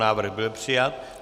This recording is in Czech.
Návrh byl přijat.